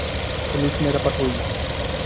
police में रपट हुई